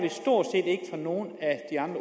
om nogen